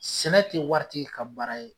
Sɛnɛ te waritigi ka baara ye